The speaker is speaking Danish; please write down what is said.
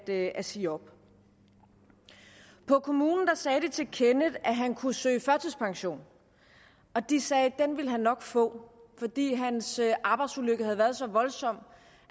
at at sige op på kommunen sagde de til kenneth at han kunne søge førtidspension og de sagde at den vil han nok få fordi hans arbejdsulykke havde været så voldsom